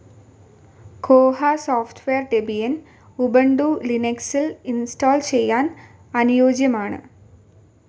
കോഹ software Debian, Ubuntu ലിനക്സിൽ install ചെയ്യാൻ അനുയോജ്യമാണ്.